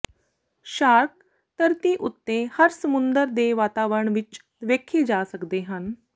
shark ਧਰਤੀ ਉੱਤੇ ਹਰ ਸਮੁੰਦਰ ਦੇ ਵਾਤਾਵਰਣ ਵਿੱਚ ਵੇਖੇ ਜਾ ਸਕਦੇ ਹਨ